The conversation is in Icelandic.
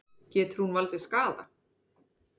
Getur hún valdið skaða?